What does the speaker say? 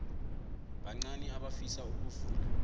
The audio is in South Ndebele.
bancani abafisa ukuvula